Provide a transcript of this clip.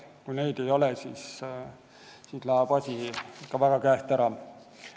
Kui seda ei ole, siis läheb asi ikka väga käest ära.